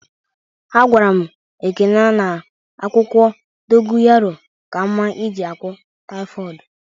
A gwara m Ekene na akwụkwọ dogoyanro ka mma eji gwo taịfodu